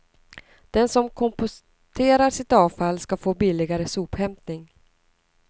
Den som komposterar sitt avfall ska få billigare sophämtning.